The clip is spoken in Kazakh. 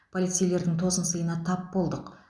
полицейлердің тосынсыйына тап болдық